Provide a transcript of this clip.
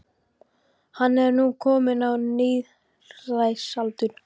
Hann er nú kominn á níræðisaldur.